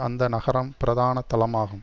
அந்த நகரம் பிரதான தளமாகும்